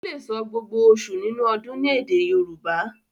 o lẹ sọ gbógbó oṣù nínú ọdún ní èdè Yorùbá.